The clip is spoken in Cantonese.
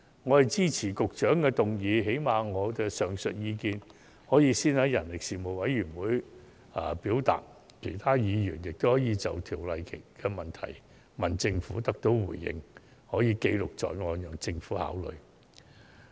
我支持局長的議案，最低限度，我的上述意見可先在事務委員會表達，而其他議員也可以就《條例草案》的疑問詢問政府並得到回應，可以記錄在案，讓政府考慮。